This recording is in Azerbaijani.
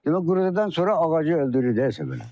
Demək quruyandan sonra ağacı öldürürsə belə.